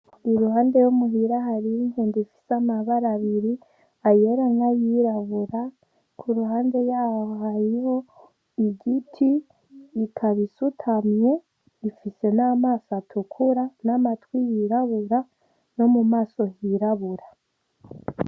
Iruhande yo muhira hari inkende ifise amabara abiri ayera n'ayirabura kuruhande yaho harimwo igiti ikaba isutamye ifise n'amaso atukura n'amatwi yirabura no mumaso hirabura